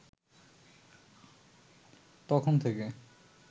তখন থেকে